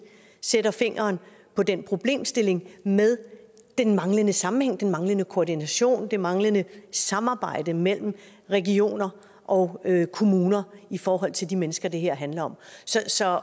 sætter fingeren på den problemstilling med manglende sammenhæng manglende koordination manglende samarbejde mellem regioner og kommuner i forhold til de mennesker det her handler om så